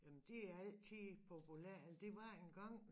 Jamen det altid populært eller det var engang